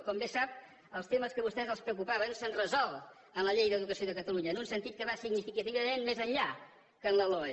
com bé sap els temes que a vostès els preocupaven s’han resolt en la llei d’educació de catalunya en un sentit que va significativament més enllà que en la loe